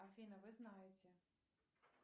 афина вы знаете